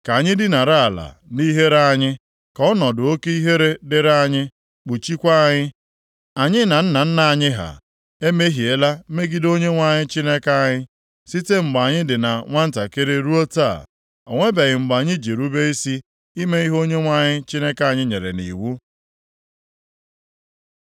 Ka anyị dinara ala nʼihere anyị, ka ọnọdụ oke ihere dịrị anyị kpuchikwa anyị. Anyị na nna nna anyị ha emehiela megide Onyenwe anyị Chineke anyị; site mgbe anyị dị na nwantakịrị ruo taa o nwebeghị mgbe anyị ji rube isi ime ihe Onyenwe anyị Chineke anyị nyere nʼiwu.”